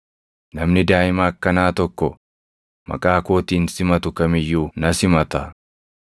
Namni daaʼima akkanaa tokko maqaa kootiin simatu kam iyyuu na simata.